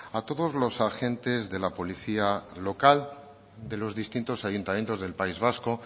a todos los agentes de la policía local de los distintos ayuntamientos del país vasco